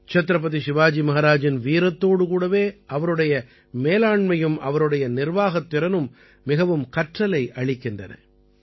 சத்ரபதி சிவாஜி மஹாராஜின் வீரத்தோடு கூடவே அவருடைய மேலாண்மையும் அவருடைய நிர்வாகத் திறனும் மிகவும் கற்றலை அளிக்கின்றன